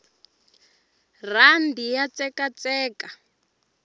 rhandi ya tsekatseka